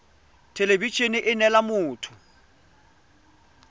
thelebi ene e neela motho